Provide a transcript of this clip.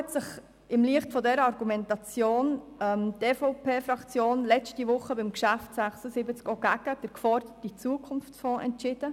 Im Lichte dieser Argumentation hat sich die EVP-Fraktion letzte Woche beim Traktandum 76 auch gegen den geforderten Zukunftsfonds entschieden.